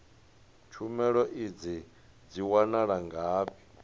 tshumelo idzi dzi wanala ngafhi